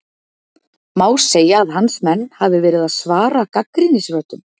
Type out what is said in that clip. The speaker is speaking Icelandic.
Má segja að hans menn hafi verið að svara gagnrýnisröddum?